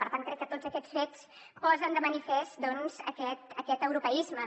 per tant crec que tots aquests fets posen de manifest aquest europeisme